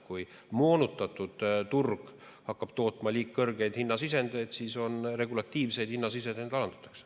Kui moonutatud turg hakkab tootma liiga kõrgeid hinnasisendeid, siis regulatiivseid hinnasisendeid alandatakse.